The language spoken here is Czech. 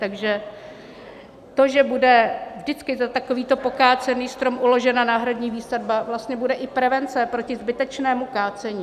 Takže to, že bude vždycky za takovýto pokácený strom uložena náhradní výsadba, vlastně bude i prevence proti zbytečnému kácení.